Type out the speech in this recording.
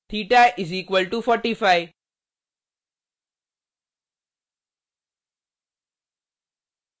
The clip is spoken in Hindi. थीटा = 45